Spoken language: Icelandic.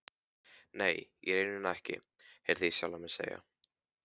Nei, í rauninni ekki, heyrði ég sjálfan mig segja.